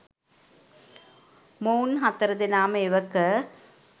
මොවුන් හතර දෙනාම එවක